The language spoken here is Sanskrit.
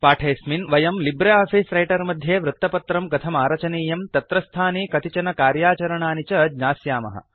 पाठेऽस्मिन् वयं लिब्रे आफीस् रैटर् मध्ये वृत्तपत्रं कथमारचनीयं तत्रस्थानि कतिचन कार्याचरणानि च ज्ञास्यामः